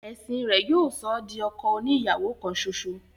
ẹ̀sìn rẹ̀ yóò sọ ọ́ di ọkọ oni ìyàwó kan ṣoṣo.